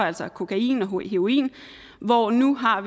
altså kokain og heroin hvor vi nu har